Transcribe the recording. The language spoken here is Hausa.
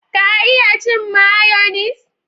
Ka iya cin mayonis?